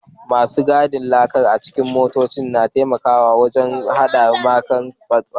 Masu gadin laka a cikin motoci na taimakawa wajen hana laka fantsama